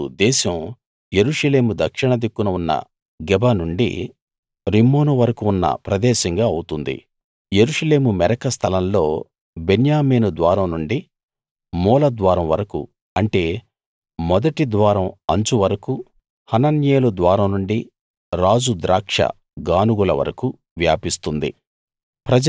అప్పుడు దేశం యెరూషలేము దక్షిణ దిక్కున ఉన్న గెబ నుండి రిమ్మోను వరకు ఉన్న ప్రదేశంగా అవుతుంది యెరూషలేము మెరక స్థలంలో బెన్యామీను ద్వారం నుండి మూల ద్వారం వరకు అంటే మొదటి ద్వారం అంచు వరకు హనన్యేలు ద్వారం నుండి రాజు ద్రాక్ష గానుగుల వరకు వ్యాపిస్తుంది